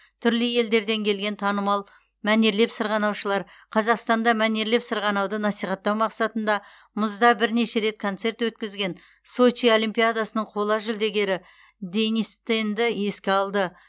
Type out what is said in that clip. түрлі елдерден келген танымал мәнерлеп сырғанаушылар қазақстанда мәнерлеп сырғанауды насихаттау мақсатында мұзда бірнеше рет концерт өткізген сочи олимпиадасының қола жүлдегері денис тенді еске алды